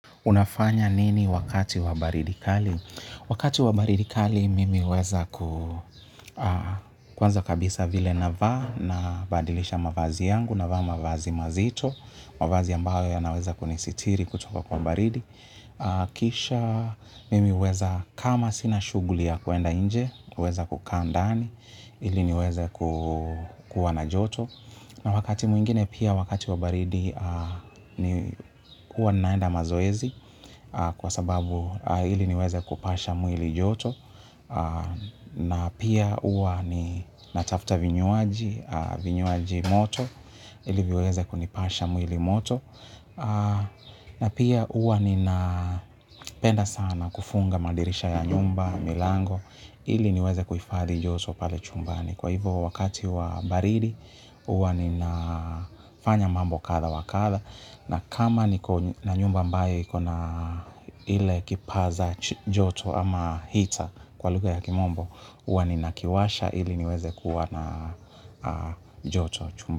Unafanya nini wakati wa baridi kali? Wakati wa baridi kali mimi huweza ku kwanza kabisa vile navaa nabadilisha mavazi yangu navaa mavazi mazito mavazi ambayo yanaweza kunisitiri kutoka kwa baridi. Kisha mimi huweza kama sina shughuli ya kuenda nje, huweza kukaa ndani, ili niweze kuwa na joto. Na wakati mwingine pia wakati wa baridi ni kuwa naenda mazoezi kwa sababu ili niweze kupasha mwili joto na pia huwa ninatafuta vinywaji, vinywaji moto ili viweze kunipasha mwili moto na pia huwa ninapenda sana kufunga madirisha ya nyumba, milango ili niweze kuifadhi joto pale chumbani. Kwa hivo wakati wa baridi, huwa ninafanya mambo kadha wa kadha. Na kama niko na nyumba ambayo ikona ile kipaza joto ama heater kwa lugha ya kimombo huwa ninakiwasha ili niweze kuwa na joto chumba.